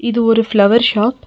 இது ஒரு flower shot .